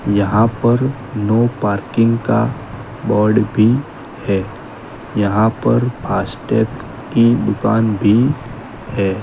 यहां पर no parking का बोर्ड भी है यहां पर फास्ट टैग की दुकान भी है।